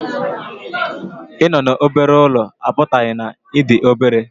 Ịnọ n'obere ụlọ apụtaghị na ị dị obere